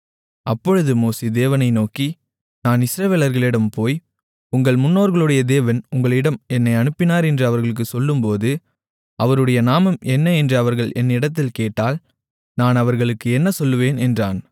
அப்பொழுது மோசே தேவனை நோக்கி நான் இஸ்ரவேலர்களிடம் போய் உங்கள் முன்னோர்களுடைய தேவன் உங்களிடம் என்னை அனுப்பினார் என்று அவர்களுக்குச் சொல்லும்போது அவருடைய நாமம் என்ன என்று அவர்கள் என்னிடத்தில் கேட்டால் நான் அவர்களுக்கு என்ன சொல்லுவேன் என்றான்